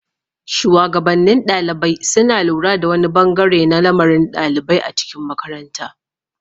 shuwagabannin ɗalibai suna lura da wani bangare na lamarin ɗalibai a cikin makaranta.